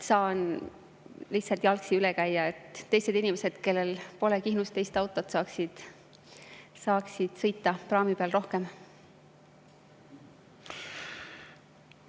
Saan lihtsalt, et teisi inimesi, kellel pole Kihnus teist autot, saaks praami peal rohkem sõita.